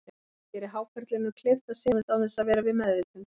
Það gerir hákarlinum kleift að synda án þess að vera við meðvitund.